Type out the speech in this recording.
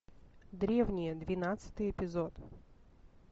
древние двенадцатый эпизод